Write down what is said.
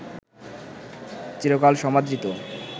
চিরকাল সমাদৃত